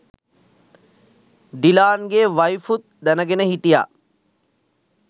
ඩිලාන්ගේ වයිෆුත් දැනගෙන හිටිය